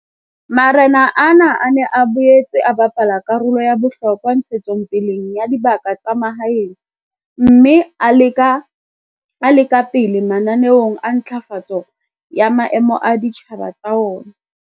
Marena ana a ne a boetse a bapala karolo ya bohlokwa ntshetsong pele ya dibaka tsa mahaeng mme a le ka pele mananeong a ntlafatso ya maemo a ditjhaba tsa ona.